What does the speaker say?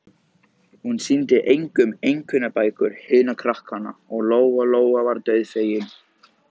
Hún sýndi engum einkunnabækur hinna krakkanna, og Lóa Lóa var dauðfegin.